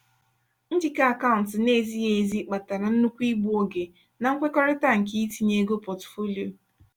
njikọ akaụntụ na-ezighi ezi kpatara nnukwu igbu oge na nkwekọrịta nke itinye ego pọtụfoliyo.